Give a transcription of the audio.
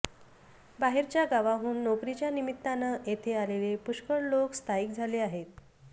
बाहेरच्या गावांहून नोकरीच्या निमित्ताने तेथे आलेले पुष्कळ लोक स्थायिक झाले आहेत